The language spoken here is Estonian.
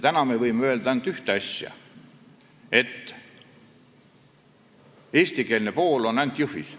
Täna me võime öelda, et eestikeelne õpe on ainult Jõhvis.